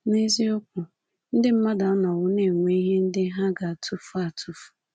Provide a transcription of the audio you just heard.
N’eziokwu, ndị mmadụ anọwo na-enwe ihe ndị ha ga-atụfu atụfu.